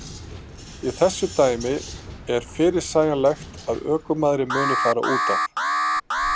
Í þessu dæmi er fyrirsegjanlegt að ökumaðurinn muni fara útaf.